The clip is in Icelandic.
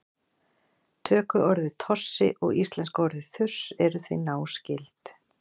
tökuorðið tossi og íslenska orðið þurs eru því náskyld